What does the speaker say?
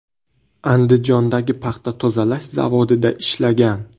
Andijondagi paxta tozalash zavodida ishlagan.